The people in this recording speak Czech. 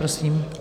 Prosím.